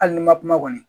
Hali n'i ma kuma kɔni